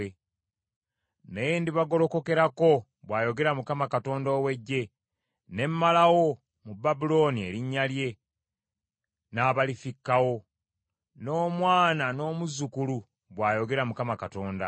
“Nange ndibagolokokerako,” bw’ayogera Mukama Katonda ow’Eggye, “ne mmalawo mu Babulooni erinnya lye, n’abalifikkawo, n’omwana n’omuzzukulu,” bw’ayogera Mukama Katonda.